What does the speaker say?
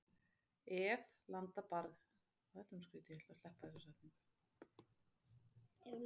Ef. landa barna ríkja